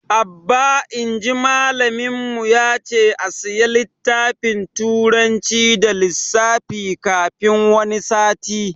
Abba inji malamin mu yace a siya littafin turanci da lissafi kafin wani sati